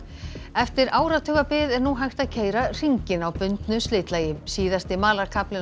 eftir áratugabið er nú hægt að keyra hringinn á bundnu slitlagi síðasti